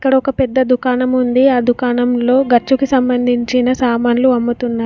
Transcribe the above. ఇక్కడ ఒక్క పెద్ద దుకాణం ఉంది అ దుకాణంలో గచ్చుకు సంబంధించిన సామాన్లు అమ్ముతున్నారు.